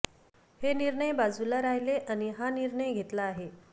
हे निर्णय बाजूला राहिले आणि हा निर्णय घेतला आहे